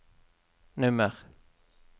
nummer